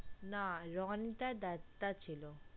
না রণিতা দত্তা ছিল